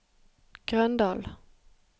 Grøndahl